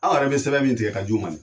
Anw yɛrɛ bɛ sɛbɛn min tigɛ ka j'u ma.